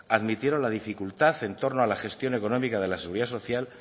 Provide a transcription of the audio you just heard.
admitieron la dificultad en torno a la gestión económica de la seguridad social